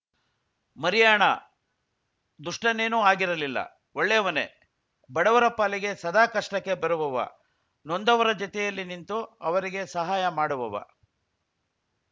ಮರಿಯಾಣ ದುಷ್ಟನೇನೂ ಆಗಿರಲಿಲ್ಲ ಒಳ್ಳೆಯವನೇ ಬಡವರ ಪಾಲಿಗೆ ಸದಾ ಕಷ್ಟಕ್ಕೆ ಬರುವವ ನೊಂದವರ ಜೊತೆಯಲ್ಲಿ ನಿಂತು ಅವರಿಗೆ ಸಹಾಯ ಮಾಡುವವ